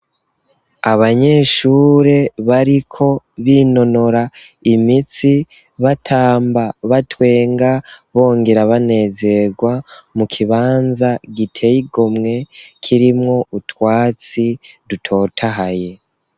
Abanyeshure bariko binonora imitsi batamba, batwenga, bongera banezerwa mu kibanza giteye igomwe kirimwo utwatsi dutotahaye.